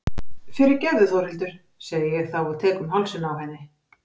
Fyrirgefðu Þórhildur, segi ég þá og tek um hálsinn á henni.